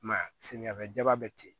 I m'a ye samiyafɛ jaba bɛ ten